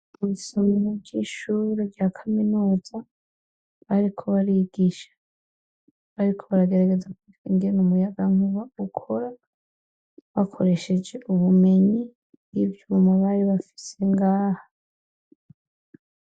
Isomero ry'ishure rya kaminuza bariko barigisha, bariko baragerageza kwiga ingene umuyagankuba ukora bakoresheje ubumenyi n'ivyuma bari bafise ngaho.